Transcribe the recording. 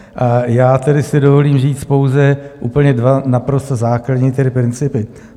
A já tedy si dovolím říct pouze úplně dva naprosto základní principy.